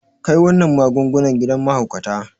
Kai wannan magungunan gidan mahaukata.